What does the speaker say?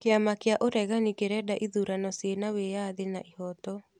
Kĩama kĩa ũregani kĩrenda ithurano ciĩna wĩyathi na ihoto